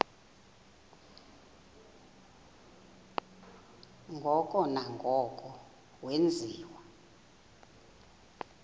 ngoko nangoko wenziwa